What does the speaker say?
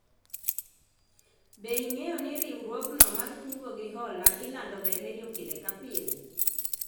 Be ing'eyo ni riwruogno mar kungo gi hola ilando ga e redio pile ka pile?